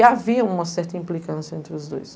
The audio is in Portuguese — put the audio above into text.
E havia uma certa implicância entre os dois.